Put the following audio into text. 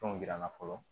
Fɛnw yir'an na fɔlɔ